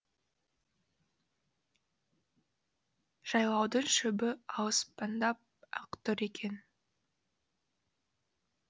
жайлаудың шөбі алсындап ақ тұр екен